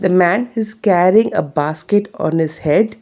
The man who is carrying a basket on his head.